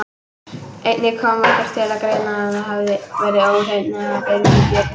Einnig fannst okkur koma til greina að þetta hefði verið ofheyrn eða bilun í bjöllunni.